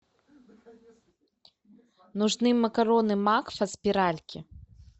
нужны макароны макфа спиральки